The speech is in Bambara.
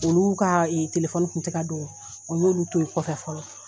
Olu ka telefɔni kun tɛ ka don o y'olu to ye kɔfɛ fɔlɔ.